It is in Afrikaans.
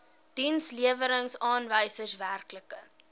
dienslewerings aanwysers werklike